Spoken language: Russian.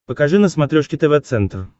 покажи на смотрешке тв центр